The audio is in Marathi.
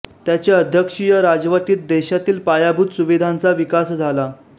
त्याच्या अध्यक्षीय राजवटीत देशातील पायाभूत सुविधांचा विकास झाला